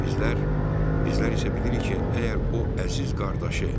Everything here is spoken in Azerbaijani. Bizlər, bizlər isə bilirik ki, əgər o əziz qardaşı